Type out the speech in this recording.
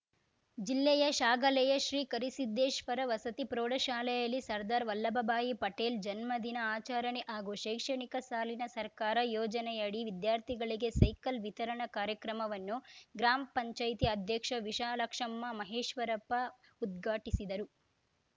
ಜಿಲ್ಲೆಯ ಶ್ಯಾಗಲೆಯ ಶ್ರೀಕರಿಸಿದ್ದೇಶ್ವರ ವಸತಿ ಪ್ರೌಢಶಾಲೆಯಲ್ಲಿ ಸರ್ದಾರ್‌ ವಲ್ಲಭಭಾಯಿ ಪಟೇಲ್‌ ಜನ್ಮ ದಿನ ಆಚರಣೆ ಹಾಗೂ ಶೈಕ್ಷಣಿಕ ಸಾಲಿನ ಸರ್ಕಾರ ಯೋಜನೆಯಡಿ ವಿದ್ಯಾರ್ಥಿಗಳಿಗೆ ಸೈಕಲ್‌ ವಿತರಣಾ ಕಾರ್ಯಕ್ರಮವನ್ನು ಗ್ರಾಮ್ ಪಂಚಾಯತಿ ಅಧ್ಯಕ್ಷ ವಿಶಾಲಾಕ್ಷಮ್ಮ ಮಹೇಶ್ವರಪ್ಪ ಉದ್ಘಾಟಿಸಿದರು